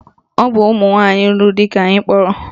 Ọ bụ ụmụnwanyị lụrụ di ka anyị kpọrọ